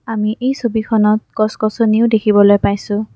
আমি এই ছবিখনত গছ-গছনিও দেখিবলৈ পাইছোঁ।